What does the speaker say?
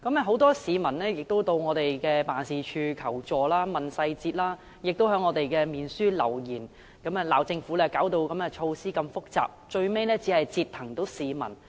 很多市民來到我們的辦事處求助和查詢細節，亦在我們的臉書上留言，責罵政府制訂了這麼複雜的措施，最後只是折騰市民。